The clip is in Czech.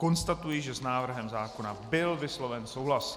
Konstatuji, že s návrhem zákona byl vysloven souhlas.